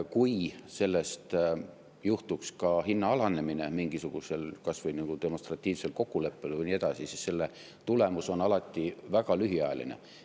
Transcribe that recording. Kui sellest johtuks ka hinna alanemine mingisugusel kas või nagu demonstratiivsel kokkuleppel ja nii edasi, siis selline tulemus on alati väga lühiajaline.